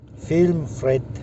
фильм фред